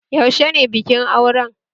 Yaushe ne bikin auren?